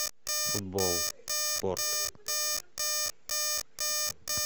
футбол спорт